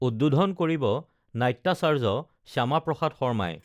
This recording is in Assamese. উদ্বোধন কৰিব নাট্যাচাৰ্য শ্যামাপ্ৰসাদ শৰ্মাই